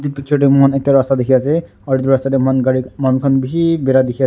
Etu picture dae mokhan ekta rasta ekta dekhe ase aro etu rasta dae mokhan gari manu khan beshi bera dekhe ase.